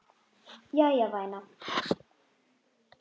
Jæja, væna.